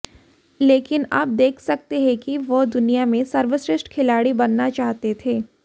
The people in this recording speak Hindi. लेकिन आप देख सकते हैं कि वह दुनिया में सर्वश्रेष्ठ खिलाड़ी बनना चाहते थे